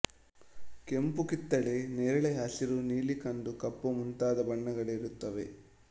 ಕೆಂಪು ಕಿತ್ತಲೆ ನೇರಳೆ ಹಸಿರು ನೀಲಿ ಕಂದು ಕಪ್ಪು ಮುಂತಾದ ಬಣ್ಣಗಳಿರುತ್ತವೆ